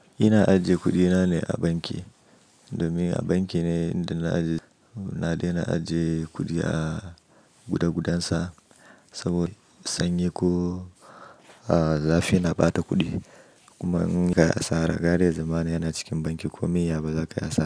Ina ajiye kuɗina ne a banki domin a banki ne inda na daina ajiye kuɗi a guda gudansa. Saboda sanyi ko zafi na ɓata kuɗi. Kuma in ka yi asara, gare zaman yana cikin banki komai ya ba zaka yi asara.